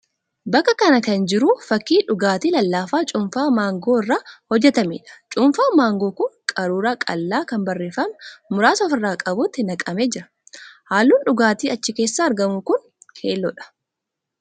Bakka kana jiru fakkii dhugaatii lallaafaa cuunfaa maangoo irraa hojjetameedha. Cuunfaan maangoo kun qaruuraa qal'aa kan barreeffama muraasa of irraa qabutti naqamee jira. Halluun dhugaatii achi keessaa argamu kun keelloodha.